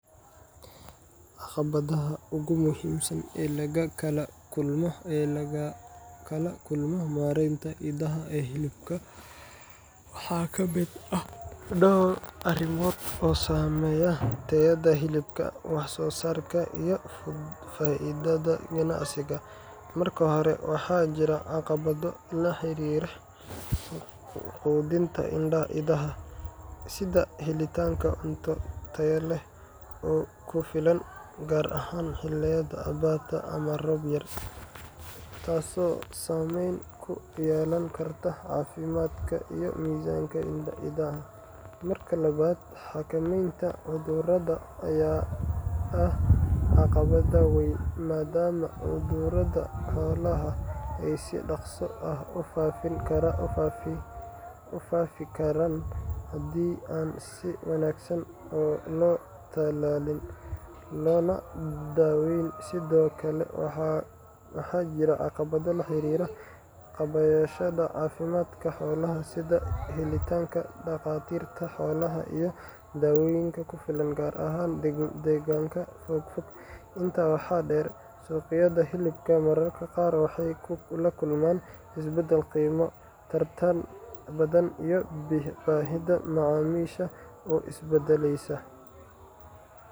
Caqabadaha ugu muhiimsan ee laga kala kulmo mareynta idaha ee hilibka waxaa ka mid ah dhowr arrimood oo saameeya tayada hilibka, wax-soo-saarka, iyo faa’iidada ganacsiga. Marka hore, waxaa jira caqabado la xiriira quudinta idaha, sida helitaanka cunto tayo leh oo ku filan, gaar ahaan xilliyada abaarta ama roob yar, taasoo saameyn ku yeelan karta caafimaadka iyo miisaanka idaha. Marka labaad, xakameynta cudurrada ayaa ah caqabad weyn, maadaama cudurrada xoolaha ay si dhaqso ah u faafi karaan haddii aan si wanaagsan loo tallaalin loona daaweyn. Sidoo kale, waxaa jira caqabado la xiriira kaabayaasha caafimaadka xoolaha, sida helitaanka dhakhaatiirta xoolaha iyo daawooyinka ku filan, gaar ahaan deegaanada fogfog. Intaa waxaa dheer, suqyada hilibka mararka qaar waxay la kulmaan isbeddel qiimo, tartan badan, iyo baahida macaamiisha oo isbeddelaysa.